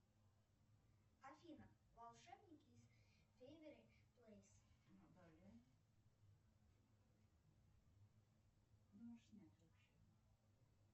афина волшебники из фэйверли плэйс